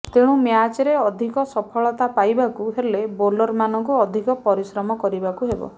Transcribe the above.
ତେଣୁ ମ୍ୟାଚରେ ଅଧିକ ସଫଳତା ପାଇବାକୁ ହେଲେ ବୋଲରମାନଙ୍କୁ ଅଧିକ ପରିଶ୍ରମ କରିବାକୁ ହେବ